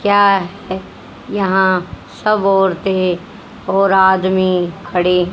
क्या यहां सब औरतें और आदमी खड़े--